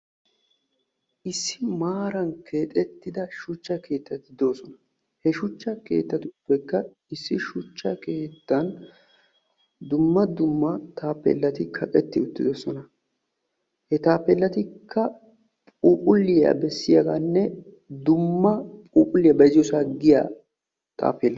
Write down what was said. issi maaran keexettida shuchcha keettati de'oosona. he shuchcha keettauppekka issi shuchcha keettan dumma dumma taappellati kaqetti uttidosona. he taappeellatikka phuuphulliya bessiyagaanne dumma phuuphulliya bayizziyoosan diya taappeella.